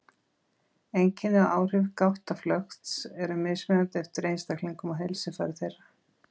Einkenni og áhrif gáttaflökts eru mismunandi eftir einstaklingum og heilsufari þeirra.